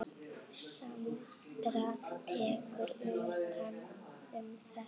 Sandra tekur undir þetta.